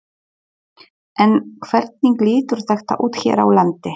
En hvernig lítur þetta út hér á landi?